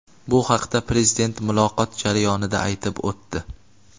Bu haqda Prezident muloqot jarayonida aytib o‘tdi.